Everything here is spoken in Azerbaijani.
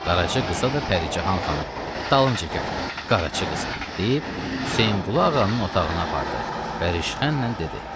Qaraca qıza da Pəricahan xanım Talımçı gəl Qaraca qızı deyib, Hüseynqulu ağanın otağına apardı və rışxənlə dedi: